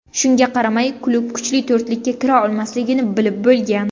Shunga qaramay klub kuchli to‘rtlikka kira olmasligini bilib bo‘lgan.